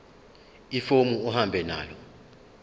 ifomu uhambe nalo